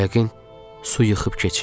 Yəqin su yıxıb keçib.